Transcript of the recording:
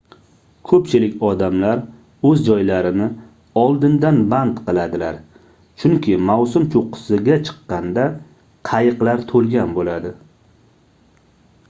ko'pchilik odamlar o'z joylarini oldindan band qiladilar chunki mavsum cho'qqisiga chiqqanda qayiqlar to'lgan bo'ladi